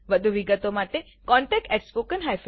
• વધુ વિગત માટે contactspoken tutorialorg પર સંપર્ક કરો